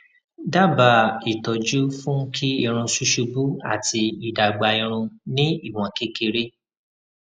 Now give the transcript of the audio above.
daba ìtọjú fún kí irun susubu ati idagba irun ni iwon kekere